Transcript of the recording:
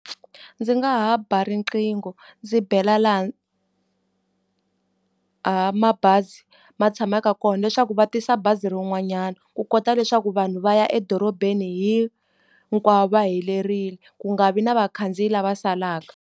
Ndzi nga ha ba riqingho ndzi bela laha mabazi ma tshamaka kona leswaku va tisa bazi rin'wanyana, ku kota leswaku vanhu va ya edorobeni hinkwavo va helerile, ku nga vi na vakhandziyi lava salaka.